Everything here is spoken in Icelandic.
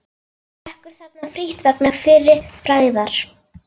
Drekkur þarna frítt vegna fyrri frægðar.